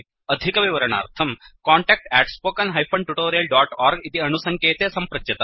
अधिकविवरणार्थं contact spoken tutorialorg इति अणुसङ्केते सम्पृच्यताम्